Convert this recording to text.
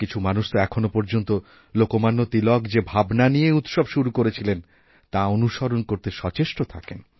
কিছু মানুষতো এখনওপর্যন্ত লোকমান্য তিলক যে ভাবনা নিয়ে এই উৎসব শুরু করেছিলেন তা অনুসরণ করতে সচেষ্টথাকেন